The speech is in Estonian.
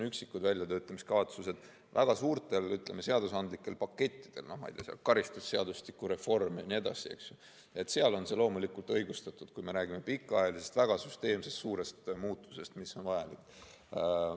Üksikud väljatöötamiskavatsused väga suurte seadusandlike pakettide puhul, ma ei tea, karistusseadustiku reform ja nii edasi, on loomulikult õigustatud, kui me räägime pikaajalisest, väga süsteemsest suurest muutusest, mis on vajalik.